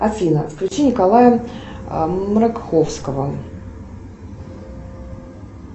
афина включи николая мракховского